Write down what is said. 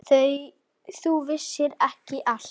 Þú veist ekki allt.